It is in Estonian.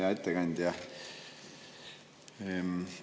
Hea ettekandja!